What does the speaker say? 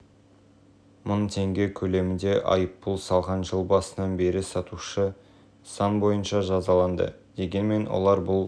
мың теңге көлемінде айыппұл салған жыл басынан бері сатушы заң бойынша жазаланды дегенмен олар бұл